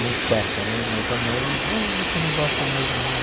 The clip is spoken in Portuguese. Não choca né, mas a mãe, ô você não gosta mais de mim.